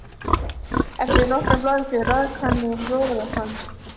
Eftir nokkrar blaðsíður rak hann í rogastans.